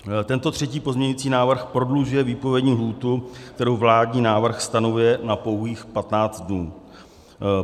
Tento třetí pozměňovací návrh prodlužuje výpovědní lhůtu, kterou vládní návrh stanovuje na pouhých 15 dnů.